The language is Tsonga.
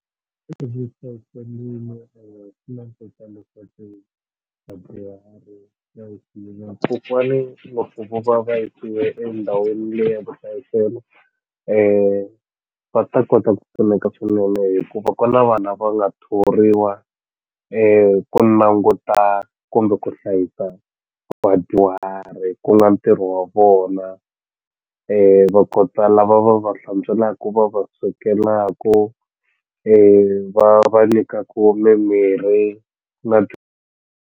kokwani pfuka va va yisiwe endhawini liya ya vuhlayiselo va ta kota ku pfuneka swinene hikuva ku na vanhu lava nga thoriwa languta kumbe ku hlayisa vadyuhari ku nga ntirho wa vona va kota lava va va hlantswelaku va va swekelaku va nyikaku mimirhi .